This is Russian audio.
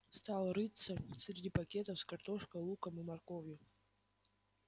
стал рыться среди пакетов с картошкой луком и морковью